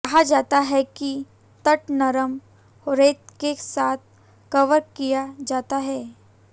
कहा जाता है कि तट नरम रेत के साथ कवर किया जाता है